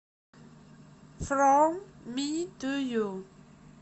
фром ми ту ю